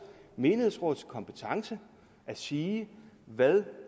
menighedsrådets kompetence at sige hvad